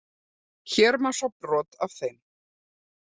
Hér má sjá brot af þeim.